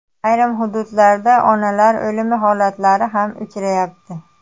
Ayrim hududlarda onalar o‘limi holatlari ham uchrayapti.